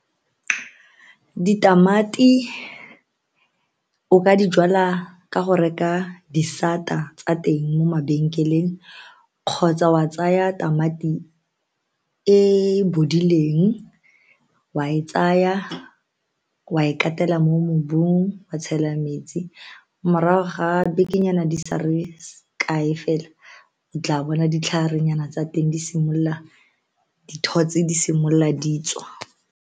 Ditamati o ka dijalwa ka go reka disata tsa teng mo mabenkeleng kgotsa wa tsaya tamati e bodileng, wa e tsaya, wa e katela mo mobung wa tshela metsi morago ga bekenyana di sa re kae fela o tla bona ditlharenyana tsa teng di simolola, dithotse di simolola di tswa.